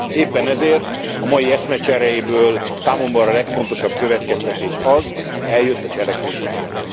Éppen ezért a mai eszmecseréből számomra a legfontosabb következtetés az, hogy eljött a cselekvés ideje.